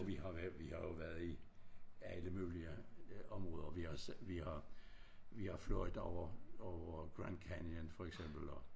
Og vi har vær vi har jo været i alle mulige områder vi har vi har vi har fløjet over over Grand Canyon for eksempel og